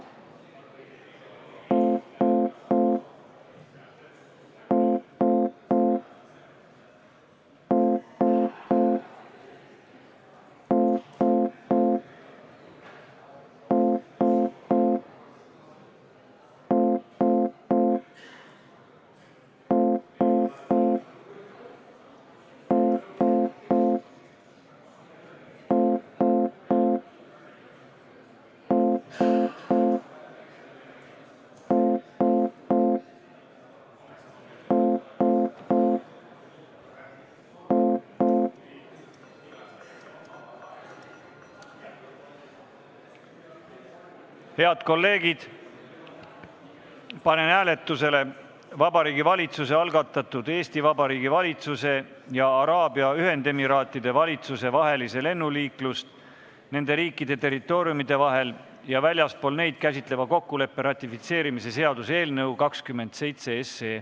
Head kolleegid, panen hääletusele Vabariigi Valitsuse algatatud Eesti Vabariigi valitsuse ja Araabia Ühendemiraatide valitsuse vahelise lennuliiklust nende riikide territooriumide vahel ja väljaspool neid käsitleva kokkuleppe ratifitseerimise seaduse eelnõu .